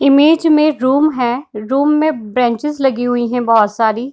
Image में room है room में बेंचेस लगी हुई हैं बहुत सारी ।